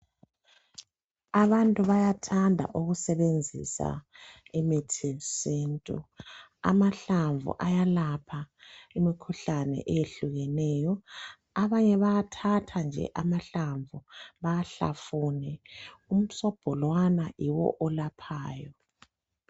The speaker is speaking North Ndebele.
abantu bayathanda ukusebenzisa imithi yesintu amahlamvu ayalapha imikhuhlane eyehlukileyoabanye bayathatha nje amahlamvu bawahlafune umsobho lowana nje nguye olaphayo